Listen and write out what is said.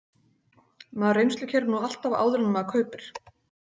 Maður reynslukeyrir nú alltaf áður en maður kaupir.